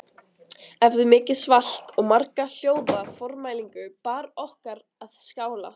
Eftir mikið svalk og marga hljóða formælingu bar okkur að skála